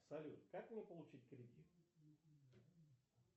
салют как мне получить кредит